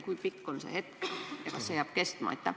Kui pikk on see hetk ja kas see jääb kestma?